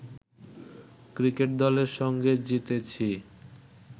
cricket দলের সঙ্গে জিতেছি